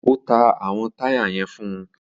O ta awọn taya yẹn fún